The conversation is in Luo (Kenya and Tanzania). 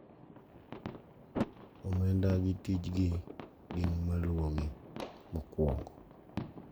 Omenda gi tijgi gin maluwogi: mokwongo,